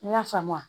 N y'a faamu